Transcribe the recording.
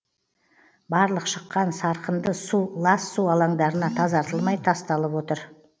барлық шыққан сарқынды су лас су алаңдарына тазартылмай тасталып отыр